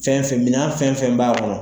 Fɛnfɛn mina fɛnfɛn b'a kɔnɔ.